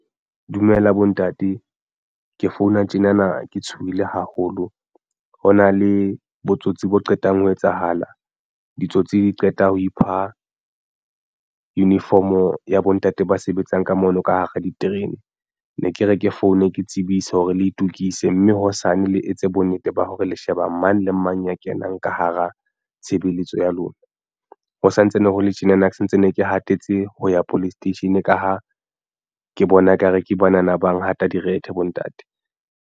Dumela bontate, ke founa tjena na ke tshohile haholo ho na le botsotsi bo qetang ho etsahala ditsotsi di qeta ho ipha uniform o ya bo ntate ba sebetsang ka mono ka hara diterene. Ne ke re ke foune ke tsebise hore le itokise mme hosane le etse bonnete ba hore le sheba mang le mang ya kenang ka hara tshebeletso ya lona. Ho santsane hole tjena na ke santsane ke hatetse ho ya police station ka ha ke bona ekare ke banana ba ngata direthe bontate.